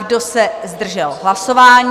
Kdo se zdržel hlasování?